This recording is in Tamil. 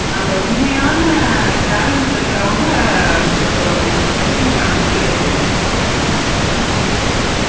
அந்த உண்மையான talent இருக்குறவங்க achieve பண்ண முடியுறது இல்லை. ஹம்